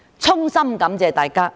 衷心感謝大家。